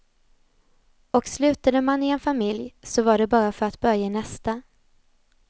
Och slutade man i en familj, så var det bara för att börja i nästa.